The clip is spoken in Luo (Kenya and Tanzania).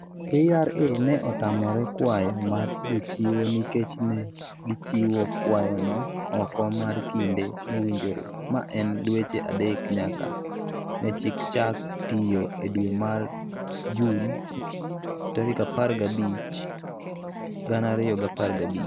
KRA ne otamore kwayo mar jochiwo nikech ne gichiwo kwayono oko mar kinde mowinjore, ma en dweche adek nyaka ne chik chak tiyo e dwe mar Jun 15, 2015.